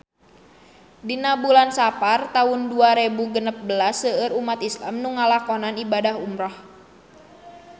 Dina bulan Sapar taun dua rebu genep belas seueur umat islam nu ngalakonan ibadah umrah